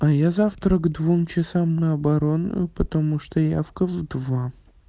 а я завтра к двум часам на оборонную потому что явка в два